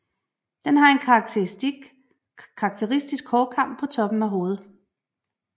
Den har en karakteristisk hårkam på toppen af hovedet